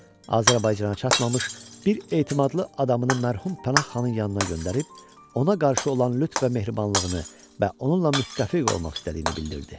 Azərbaycana çatmamış bir etimadlı adamını mərhum Pənah xanın yanına göndərib, ona qarşı olan lütf və mehribanlığını və onunla müttəfiq olmaq istədiyini bildirdi.